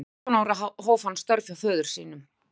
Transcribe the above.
Fjórtán ára hóf hann störf hjá föður sínum.